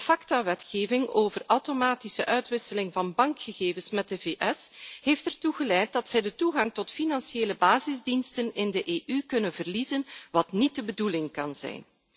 De Facta wetgeving over automatische uitwisseling van bankgegevens met de VS heeft ertoe geleid dat zij de toegang tot financiële basisdiensten in de EU kunnen verliezen, wat niet de bedoeling kan zijn.